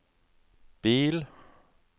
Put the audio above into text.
bil